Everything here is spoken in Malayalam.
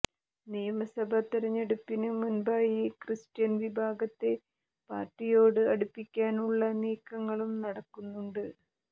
നിയമസഭ തെരഞ്ഞെടുപ്പിന് മുന്പായി ക്രിസ്ത്യൻ വിഭാഗത്തെ പാര്ട്ടിയോട് അടുപ്പിക്കാനുള്ള നീക്കങ്ങളും നടക്കുന്നുണ്ട്